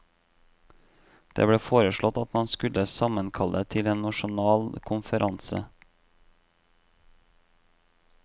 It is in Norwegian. Det ble foreslått at man skulle sammenkalle til en nasjonal konferanse.